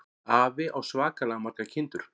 Afi á svakalega margar kindur.